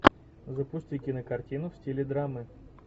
запусти кинокартину в стиле драмы